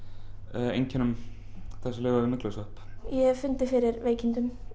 einkennum af þessum myglusvepp ég hef fundið fyrir veikindum